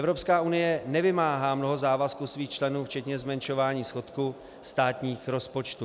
EU nevymáhá mnoho závazků svých členů včetně zmenšování schodku státních rozpočtů.